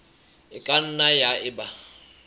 e ka nnang ya eba